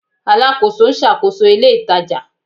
Alakoso n ṣakoso ile itaja